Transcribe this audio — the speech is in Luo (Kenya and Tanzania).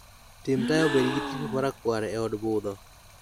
Tim taya obed gi tipo marakwar eod budho